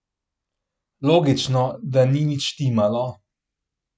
Logično, da ni nič štimalo.